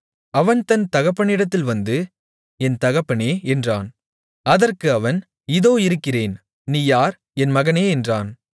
அவன் தன் தகப்பனிடத்தில் வந்து என் தகப்பனே என்றான் அதற்கு அவன் இதோ இருக்கிறேன் நீ யார் என் மகனே என்றான்